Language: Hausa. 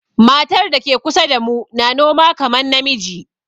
Matar da ke kusa damu na noma kaman na miji.